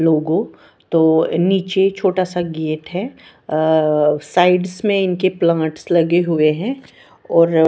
लोगो तो नीचे छोटा सा गेट है साइड्स मे इनके प्लांट्स लगे हुए है और--